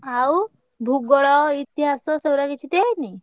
ଆଉ ଭୂଗୋଳ ଇତିହାସ ସେଗୁଡା କିଛି ଦିଆହେଇନି?